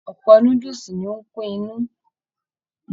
Ọpọ núdúsí ní o n kún inú.